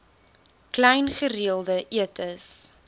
klein gereelde etes